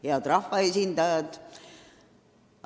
Head rahvaesindajad!